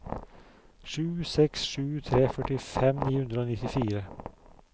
sju seks sju tre førtifem ni hundre og nittifire